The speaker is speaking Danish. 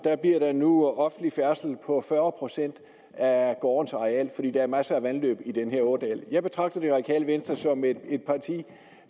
bliver der nu offentlig færdsel på fyrre procent af gårdens areal fordi der er masser af vandløb i den her ådal jeg betragter det radikale venstre som et parti